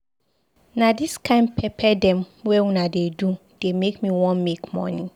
Na dis kain pepper dem wey una dey do dey make me wan make moni.